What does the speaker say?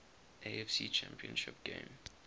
afc championship game